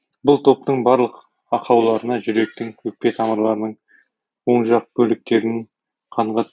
бұл топтың барлық ақауларына жүректің өкпе тамырларының оң жақ бөліктерінің қанға